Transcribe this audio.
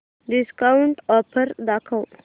discount offer दाखव